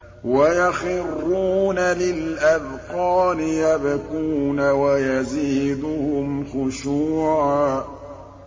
وَيَخِرُّونَ لِلْأَذْقَانِ يَبْكُونَ وَيَزِيدُهُمْ خُشُوعًا ۩